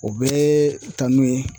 O bɛɛ ye kanu ye